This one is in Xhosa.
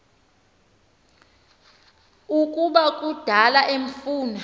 ukuba kudala emfuna